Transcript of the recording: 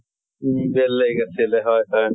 উম বেলেগ আছিলে, হয় হয়।